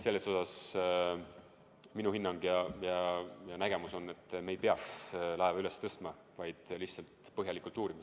Selles osas on minu hinnang ja nägemus selline, et me ei peaks laeva üles tõstma, vaid lihtsalt seda põhjalikult uurima.